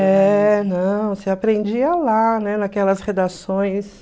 É, não, você aprendia lá, né, naquelas redações...